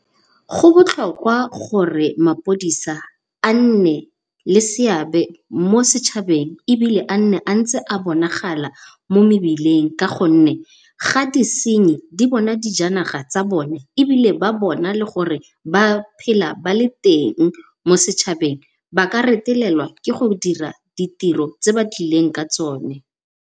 Go botlhokwa gore mapodisa a nne le seabe mo setšhabeng ebile a nne ntse a bonagala mo mebileng ka gonne, ga disinyi ba bona dijanaga tsa bone ebile ba bona le gore ba phela ba le teng mo setšhabeng ba ka retelelwa ke go dira ditiro tse ba tlileng ka tsone.